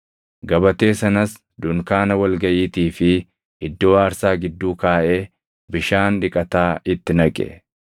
Gabatee sanas dunkaana wal gaʼiitii fi iddoo aarsaa gidduu kaaʼee bishaan dhiqataa itti naqe;